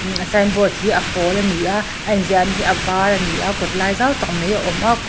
mmm a sign board hi a pawl a ni a a inziahna hi avar a ni a kawtlai zautak mai a awm a kawt--